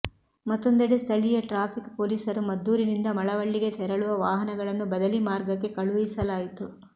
ಮತ್ತೊಂದೆಡೆ ಸ್ಥಳೀಯ ಟ್ರಾಫಿಕ್ ಪೊಲೀಸರು ಮದ್ದೂರಿನಿಂದ ಮಳವಳ್ಳಿಗೆ ತೆರಳುವ ವಾಹನಗಳನ್ನು ಬದಲಿ ಮಾರ್ಗಕ್ಕೆ ಕಳುಹಿಸಲಾಯಿತು